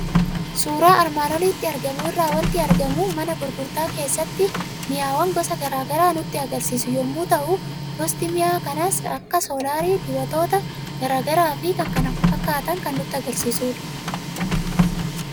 Suuraa armaan olitti argamu irraa waanti argamu mana gurgurtaa keessatti mi'awwan gosa garaagaraa nutti agarsiisu yommuu ta'u, gosti mi'a kanaas kanneen akka Solaarii, Dibatoota garaagaraafi kan kana fakkaatan kan nutti agarsiisudha.